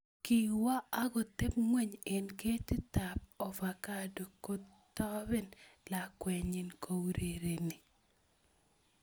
Kiwo a koteb ngweny eng ketitab ovacado kotoben lakwenyi kourereni